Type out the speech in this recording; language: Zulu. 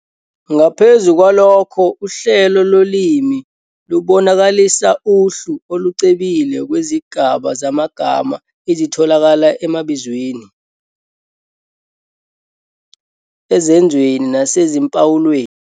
Ngaphezu kwalokho uhlelo lolimi lubonakalisa uhlu olucebile lwezigaba zamagama ezitholakala emabizweni, ezenzweni naseziphawulweni.